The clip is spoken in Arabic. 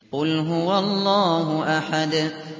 قُلْ هُوَ اللَّهُ أَحَدٌ